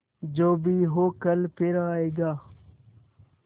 जो भी हो कल फिर आएगा